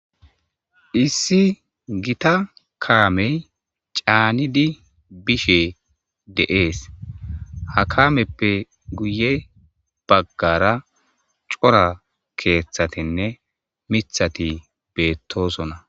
issi gita kaamey caanidi bishe de7ees ha kaameppe guye baggara cora keeththatinne mithati beettosona